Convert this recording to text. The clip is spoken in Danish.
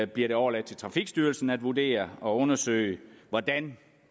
bliver overladt til trafikstyrelsen som skal vurdere og undersøge hvordan